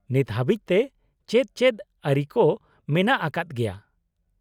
-ᱱᱤᱛ ᱦᱟᱹᱵᱤᱡ ᱛᱮ ᱪᱮᱫ ᱪᱮᱫ ᱟᱹᱨᱤ ᱠᱚ ᱢᱮᱱᱟᱜ ᱟᱠᱟᱫ ᱜᱮᱭᱟ ?